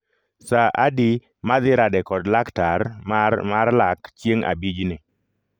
Saa adi madhi rade kod laktar mar mar lak chieng' abijni